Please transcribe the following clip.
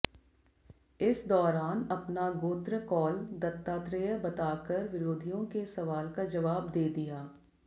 इस दौरान अपना गोत्र कौल दत्तात्रेय बताकर विरोधियों के सवाल का जवाब दे दिया